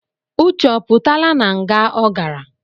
Uche ọ pụtaala na nga ọ garạ?